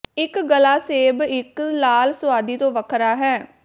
ਇੱਕ ਗਲਾ ਸੇਬ ਇੱਕ ਲਾਲ ਸੁਆਦੀ ਤੋਂ ਵੱਖਰਾ ਹੈ